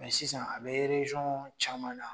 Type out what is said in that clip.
Mɛ sisan a be rejɔn caman na